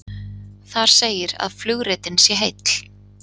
Þar segir að flugritinn sé heill